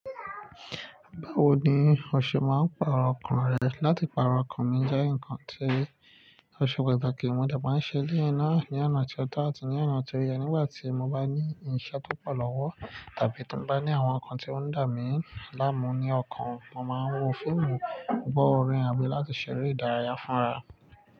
Báwo ni o ṣe máa ń pàrọ̀ ọkàn rẹ? Láti pàrọ̀ ọkàn mi jẹ́ ǹkan tí ọ̀ṣe patákí mo dé má ń ṣe léèyín náà. Ni ó ná tí ó tó àti ní ọ̀nà tí oyè nígbà tí mo bá ní iṣẹ́ tó pọ̀ lọ́wọ́ tàbí tí mo bá ní àwọn nǹkan tí ó ń dà mí láàmú ní ọkàn. Mo máa ń wo fíìmù, gbọ́ orin àbí láti ṣeré ìdárayá fúnra.